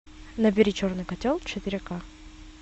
набери черный котел четыре ка